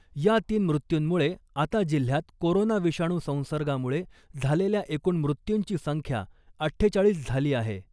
या तीन मृत्यूंमुळे आता जिल्ह्यात कोरोना विषाणू संसर्गामुळे झालेल्या एकूण मृत्यूंची संख्या अठ्ठेचाळीस झाली आहे .